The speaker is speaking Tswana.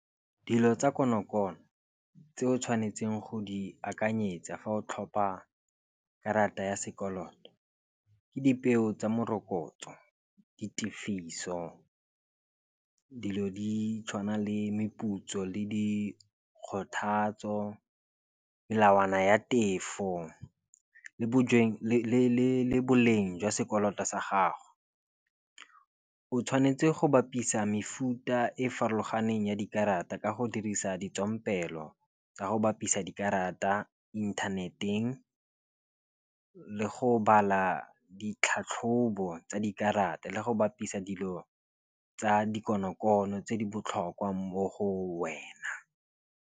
Dilo tsa konokono tse o tshwanetseng go di akanyetsa fa o tlhopa karata ya sekoloto ke dipeo tsa morokotso, ditefiso, dilo di tshwana le meputso le dikgothatso, melawana ya tefo le bo le boleng jwa sekoloto sa gago. O tshwanetse go bapisa mefuta e farologaneng ya dikarata ka go dirisa ditswampelo tsa go bapisa dikarata inthaneteng, le go bala ditlhatlhobo tsa dikarata le go bapisa dilo tsa dikonokono tse di botlhokwa mo go wena.